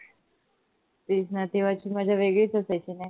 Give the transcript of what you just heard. तेच न तेव्हाची मजा वेगळीच असायची न.